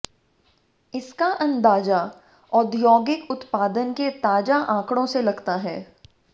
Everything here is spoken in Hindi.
इसका अंदाजा औद्योगिक उत्पादन के ताजा आंकड़ों से लगता है